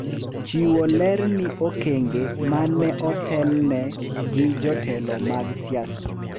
Chiwo ler ni okenge ma ne otelne gi jotelo mag siasa